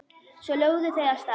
Svo lögðu þau af stað.